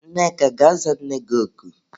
Nneka gaa za nne gị oku!